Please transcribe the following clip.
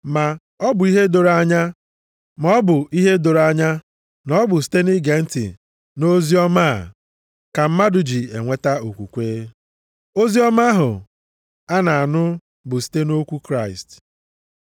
Ma ọ bụ ihe doro anya na ọ bụ site nʼige ntị nʼoziọma a ka mmadụ ji enweta okwukwe, oziọma ahụ a na-anụ bụ site nʼokwu Kraịst.